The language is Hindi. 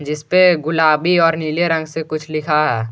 इसपे गुलाबी और नीले रंग से कुछ लिखा है।